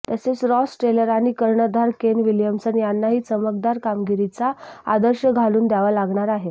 तसेच Ross Taylor आणि कर्णधार केन विल्यमसन यांनाही चमकदार कामगिरीचा आदर्श घालून द्यावा लागणार आहे